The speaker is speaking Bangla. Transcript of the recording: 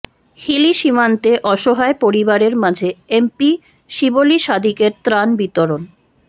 হিলি সীমান্তে অসহায় পরিবারের মাঝে এমপি শিবলী সাদিকের ত্রাণ বিতরণ